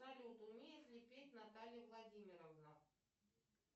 салют умеет ли петь наталья владимировна